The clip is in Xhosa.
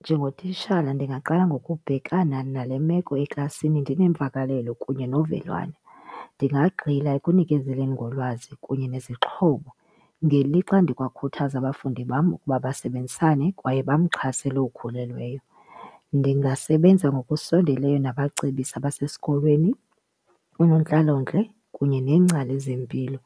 Njengotishala ndingaqala ngokubhekana nale meko eklasini ndinemvakalelo kunye novelwano. Ndingagxila ekunikezeleni ngolwazi kunye nezixhobo ngelixa ndikwakhuthaza abafundi bam ukuba basebenzisane kwaye bamxhase lowo ukhulelweyo. Ndingasebenzisa ngokusondeleyo nabacebisi abasesikolweni, unontlalontle kunye neengcali zempilo